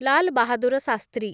Lal Bahadur Shastri